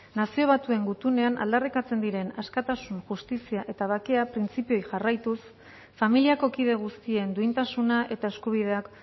nazio batuen gutunean aldarrikatzen diren askatasun justizia eta bakea printzipioei jarraituz familiako kide guztien duintasuna eta eskubideak